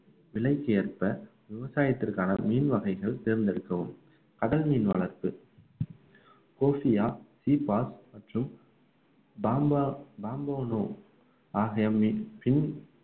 விலைக்கு ஏற்ப விவசாயத்திற்கான மீன் வகைகள் தேர்ந்தெடுக்கவும் கடல் மீன் வளர்ப்பு சீபா மற்றும் பாம்பா~ பாம்பனோ